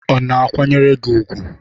Ọ̀ na-akwanyere gị ùgwù?